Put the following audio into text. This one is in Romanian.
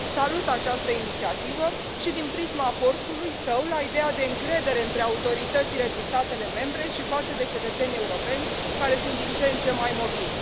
Salut această inițiativă și din prisma aportului său la ideea de încredere între autoritățile din statele membre și față de cetățenii europeni, care sunt din ce în ce mai mobili.